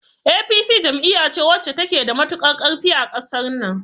APC jam'iya ce wacce ta ke da matukar ƙarfi a ƙasar nan